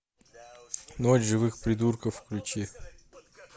ночь живых придурков включи